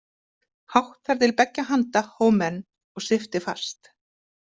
Hátt þar til beggja handa hóf menn og svipti fast.